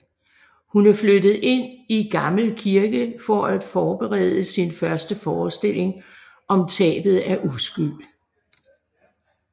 Hun er flyttet ind i gammel kirke for at forberede sin første forestilling om tabet af uskyld